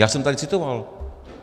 Já jsem tady citoval.